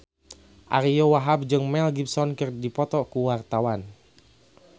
Ariyo Wahab jeung Mel Gibson keur dipoto ku wartawan